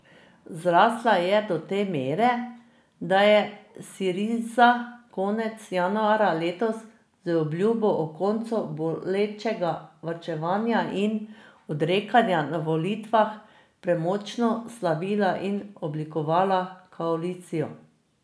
Zrasla je do te mere, da je Siriza konec januarja letos z obljubo o koncu bolečega varčevanja in odrekanja na volitvah premočno slavila in oblikovala koalicijo.